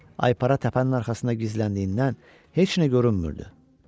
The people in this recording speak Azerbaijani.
Aypara təpənin arxasında gizləndiyindən heç nə görünmürdü.